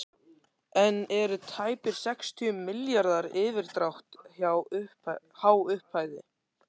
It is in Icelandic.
En eru tæpir sextíu milljarðar í yfirdrátt há upphæð?